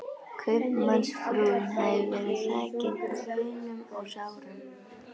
Kaupmannsfrúin hafði verið þakin kaunum og sárum